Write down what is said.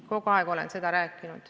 Kogu aeg olen seda rääkinud.